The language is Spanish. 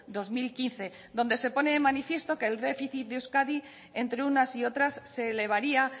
dos mil quince donde se pone de manifiesto que el déficit de euskadi entre unas y otras se elevaría